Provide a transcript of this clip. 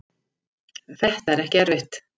þetta er ekkert erfitt.